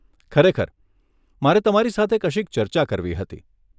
ખરેખર, મારે તમારી સાથે કશીક ચર્ચા કરવી હતી.